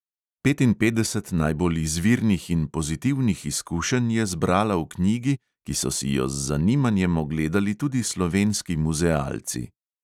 Petinpetdeset najbolj izvirnih in pozitivnih izkušenj je zbrala v knjigi, ki so si jo z zanimanjem ogledali tudi slovenski muzealci.